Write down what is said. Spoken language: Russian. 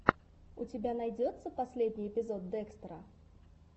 у тебя найдется последний эпизод декстера